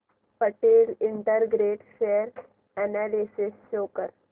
Patel integrate share analysis show कर